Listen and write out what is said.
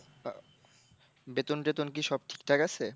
বেতন টেতন কি সব ঠিকঠাক আছে?